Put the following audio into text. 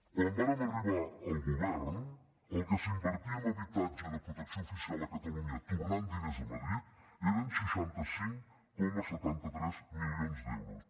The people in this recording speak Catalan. quan vàrem arribar al govern el que s’invertia en habitatge de protecció oficial a catalunya tornant diners a madrid eren seixanta cinc coma setanta tres milions d’euros